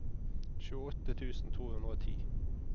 tjueåtte tusen to hundre og ti